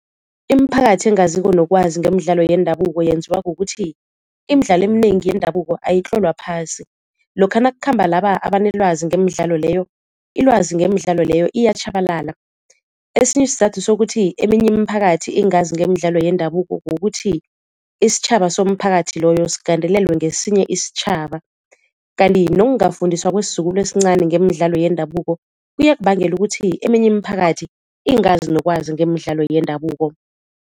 Imiphakathi engaziko nokwazi ngemidlalo yendabuko yenziwa kukuthi imidlalo eminengi yendabuko ayitlolwa phasi, lokha nakukhamba laba abanelwazi ngemidlalo leyo ilwazi ngemidlalo leyo iyatjhabalala. Esinye isizathu sokuthi eminye imiphakathi ingazi ngemidlalo yendabuko kukuthi isitjhaba somphakathi loyo sigandelelwe ngesinye isitjhaba. Kanti nokungafundiswa kwesizukulu esincani ngemidlalo yendabuko kuyakubangela ukuthi eminye imiphakathi ingazi nokwazi ngemidlalo yendabuko.